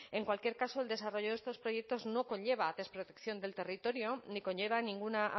en cualquier caso el desarrollo de estos proyectos no conlleva desprotección del territorio ni conlleva ninguna